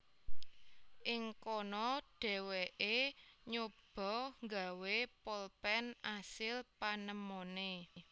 Ing kono dheweke nyoba gawé polpen asil panemone